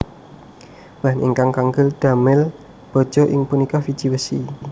Bahan ingkang kangge damel baja inggih punika wiji wesi